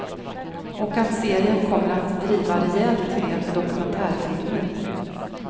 Och att serien kommer att driva rejält med dokumentärfilmer.